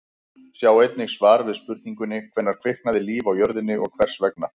Sjá einnig svar við spurningunni: Hvenær kviknaði líf á jörðinni og hvers vegna?